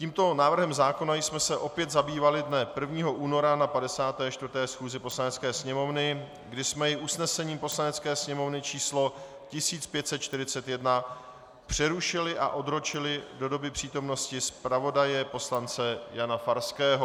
Tímto návrhem zákona jsme se opět zabývali dne 1. února na 54. schůzi Poslanecké sněmovny, kdy jsme jej usnesením Poslanecké sněmovny číslo 1541 přerušili a odročili do doby přítomnosti zpravodaje poslance Jana Farského.